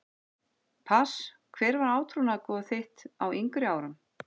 Pass Hver var átrúnaðargoð þitt á yngri árum?